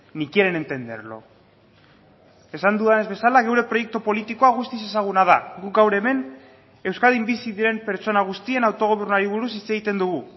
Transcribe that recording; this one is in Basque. ni quieren entenderlo esan dudanez bezala gure proiektu politikoa guztiz ezaguna da guk gaur hemen euskadin bizi diren pertsona guztien autogobernuari buruz hitz egiten dugu